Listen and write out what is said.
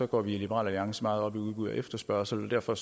går vi i liberal alliance meget op i udbud og efterspørgsel derfor